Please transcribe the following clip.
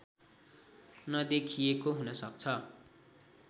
नदेखिएको हुन सक्छ